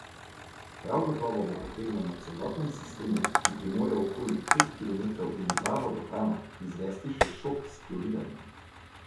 Prav gotovo bo potrebno na celotnem sistemu, ki premore okoli pet kilometrov in dva vodohrana, izvesti še šok s kloriranjem.